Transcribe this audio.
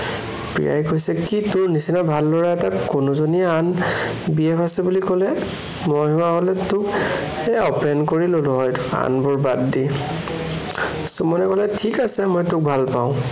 প্ৰিয়াই কৈছে, কি তোৰ নিচিনা ভাল লৰা এটাক কোনোজনীয়ে আন BF আছে বুলি কলে, মই হোৱা হলে তোক সেয়া প্ৰেম কৰি ললে হয়, আনবোৰ বাদ দি। সুমনে কলে, ঠিক আছে, মই তোক ভালপাওঁ।